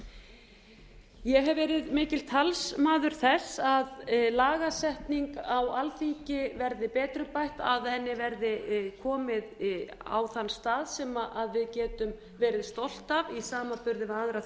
ég hef verið mikil talsmaður þess að lagasetning á alþingi verði betrumbætt að henni verði komið á þann stað sem við getum verið stolt af í samanburði við aðrar